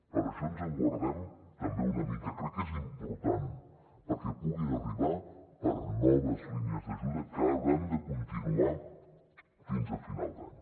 per això ens en guardem també una mica crec que és important perquè puguin arribar per a noves línies d’ajuda que hauran de continuar fins a final d’any